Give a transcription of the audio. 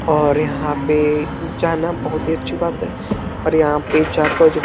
और यहाँ पे जाना बहुत ही अच्छी बात है और यहाँ पे जाकर जो --